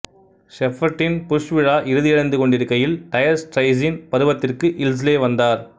செப்பெர்ட்டின் Bush விழா இறுதியடைந்து கொண்டிருக்கையில் டயர் ஸ்ட்ரெய்ட்ஸின் பருவத்திற்கு இல்ஸ்லே வந்தார்